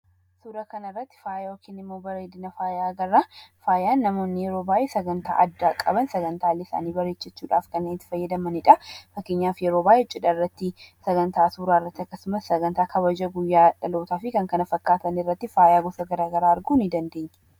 Suura kana irratti bareedina faayaa agarra. Faayaan yeroo baay'ee namoonni sagantaa addaa qaban sagantaalee isaanii bareechachuudhaaf kanneen itti fayyadamanidha. Fakkeenyaaf: yeroo baay'ee cidha irratti, sagantaa suuraa irratti, akkasumas sagantaa kabaja guyyaa dhalootaa fi kan kana fakkaatan irratti faaya gosa garaa garaa arguu ni dandeenya.